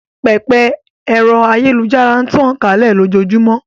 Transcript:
Pẹpẹ ẹ̀rọ ayélujára n tàn kálẹ̀ lójóojúmọ́